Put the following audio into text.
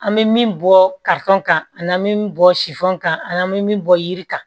An bɛ min bɔ kalifokon ka an na min bɔ sifɔn ka an bɛ min bɔ yiri kan